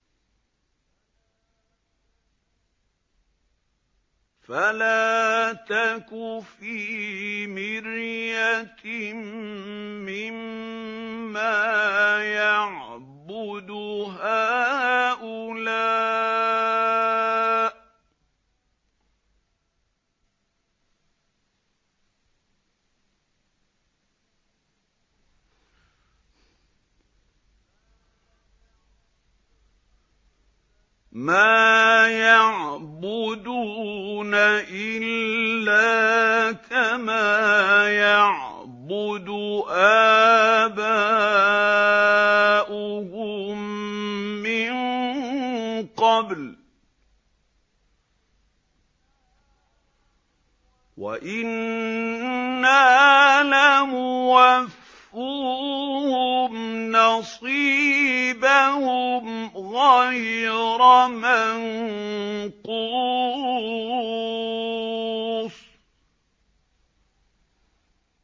فَلَا تَكُ فِي مِرْيَةٍ مِّمَّا يَعْبُدُ هَٰؤُلَاءِ ۚ مَا يَعْبُدُونَ إِلَّا كَمَا يَعْبُدُ آبَاؤُهُم مِّن قَبْلُ ۚ وَإِنَّا لَمُوَفُّوهُمْ نَصِيبَهُمْ غَيْرَ مَنقُوصٍ